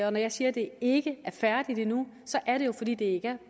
og når jeg siger at det ikke færdigt endnu er det jo fordi det ikke er